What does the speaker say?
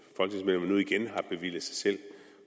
har bevilget sig selv